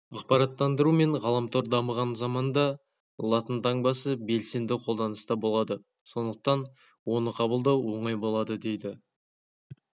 ақпараттандыру мен ғаламтор дамыған заманда латын таңбасы белсенді қолданыста болады сондықтан оны қабылдау оңай болады дейді